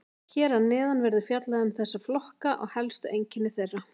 Hér að neðan verður fjallað um þessa flokka og helstu einkenni þeirra.